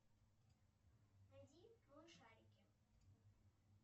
найди малышарики